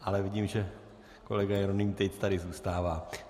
Ale vidím, že kolega Jeroným Tejc tady zůstává.